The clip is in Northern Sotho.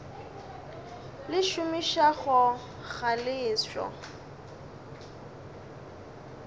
le šomišago ga le ešo